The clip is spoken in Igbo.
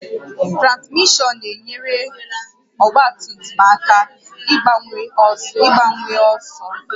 Transmishọn na-enyere ọgba tum tum aka ịgbanwe ọsọ